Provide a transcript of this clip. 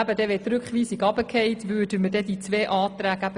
Würde die Rückweisung abgelehnt, würden wir auch diese Anträge annehmen.